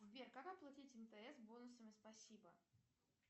сбер как оплатить мтс бонусами спасибо